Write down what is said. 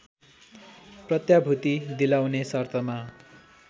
प्रत्याभूति दिलाउने शर्तमा